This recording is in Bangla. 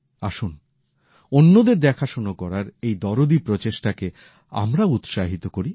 আসুন অন্যদের দেখাশোনা করার এই দরদী প্রচেষ্টাকে আমরাও উৎসাহিত করি